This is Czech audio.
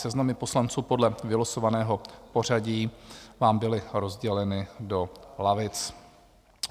Seznamy poslanců podle vylosovaného pořadí vám byly rozděleny do lavic.